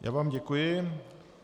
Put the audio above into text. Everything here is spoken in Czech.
Já vám děkuji.